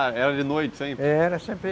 Ah, era de noite sempre? Era sempre